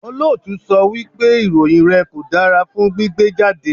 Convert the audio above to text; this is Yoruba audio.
Olóòtú sọ wípé ìròyìn rẹ̀ kò dára fún gbígbé jáde.